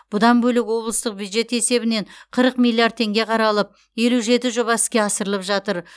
бұдан бөлек облыстық бюджет есебінен қырық миллиард теңге қаралып елу жеті жоба іске асырылып жатыр